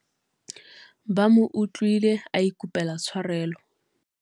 ba mo utlwile a ikopela tshwarelo